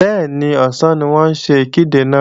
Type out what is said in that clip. Bẹ́ẹ̀ni, ọ̀sán ni wọ́n ń ṣe ìkéde náà